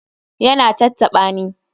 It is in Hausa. Ya na ta tattaɓa ni.